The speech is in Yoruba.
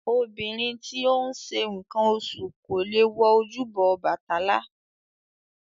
Obìnrin tí ó ń ṣe nǹkan oṣù kò lè wọ ojúbọ Ọbàtálá